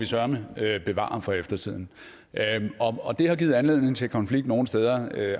søreme bevare for eftertiden og det har givet anledning til konflikt nogle steder